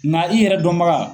Na i yɛrɛ dɔnbaga